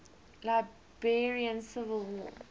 liberian civil war